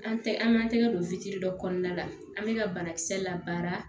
An tɛ an m'an tɛgɛ don fitiri dɔ kɔnɔna la an bɛ ka banakisɛ la baara